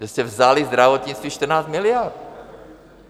Vy jste vzali zdravotnictví 14 miliard.